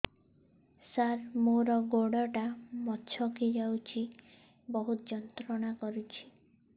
ସାର ମୋର ଗୋଡ ଟା ମଛକି ଯାଇଛି ବହୁତ ଯନ୍ତ୍ରଣା କରୁଛି